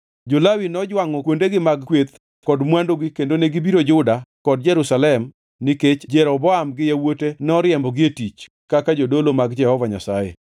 Jo-Lawi nojwangʼo kuondegi mag kweth kod mwandugi kendo negibiro Juda kod Jerusalem nikech Jeroboam gi yawuote noriembogi e tich kaka jodolo mag Jehova Nyasaye.